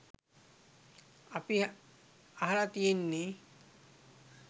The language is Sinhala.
අපි අහල තියෙන්නේ